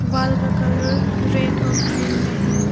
Wall का colour red और green में है।